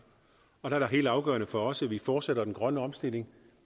og der er det helt afgørende for os at vi fortsætter den grønne omstilling